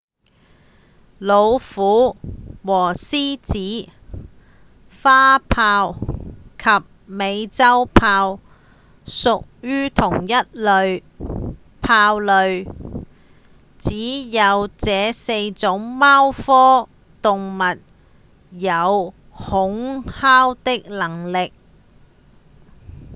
老虎和獅子、花豹及美洲豹屬於同一類豹屬只有這四種貓科動物有吼嘯的能力